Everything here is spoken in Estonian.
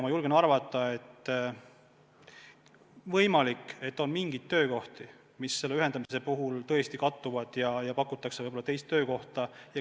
Ma julgen arvata, et võib olla mingeid töökohti, mis selle ühendamise puhul tõesti kattuvad, ja inimestele pakutakse võib-olla teist töökohta.